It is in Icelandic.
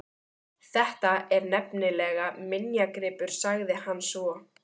Þetta er nefnilega minjagripur sagði hann svo.